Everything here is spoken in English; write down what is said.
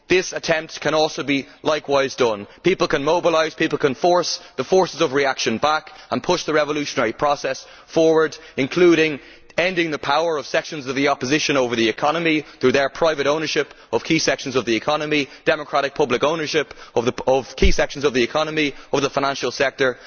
This attempt can also be defeated. People can mobilise, people can force the forces of reaction back and push the revolutionary process forward, including by ending the power of sections of the opposition over the economy through their private ownership of key sections of it, and by democratic public ownership of such key sections of the economy and of the financial sector.